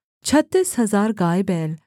छत्तीस हजार गायबैल